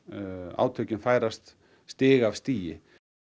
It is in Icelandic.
átökin færast stig af stigi